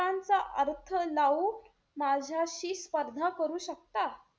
चा अर्थ लावून माझ्याशी स्पर्धा करू शकता?